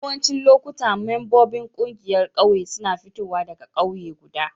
Yawancin lokuta membobin kungiyar ƙauye suna fitowa daga kauye guda.